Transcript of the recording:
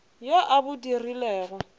yo a a bo dirilego